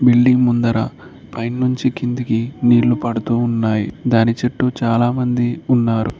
Building ముందర పైన్ నుంచి కిందకి నీళ్లు పడుతూ ఉన్నాయి దాని చుట్టూ చాలామంది ఉన్నారు.